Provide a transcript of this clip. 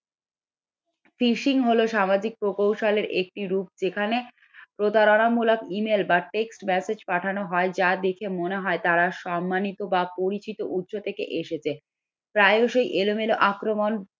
fishing হলো সামাজিক প্রকৌশল এর একটি রূপ যেখানে প্রতারণামূলক email বা text message পাঠানো হয় যা দেখে মনে হয় তারা সম্মানিত বা পরিচিত উৎস থেকে এসেছে প্রায়শই এলোমেলো আক্রমণ